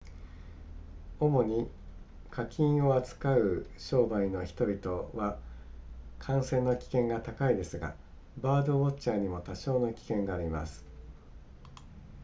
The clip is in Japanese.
主に家禽を扱う商売の人々は感染の危険が高いですがバードウォッチャーにも多少の危険があります